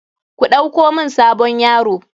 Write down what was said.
Ku ɗauko mun sabon yaro.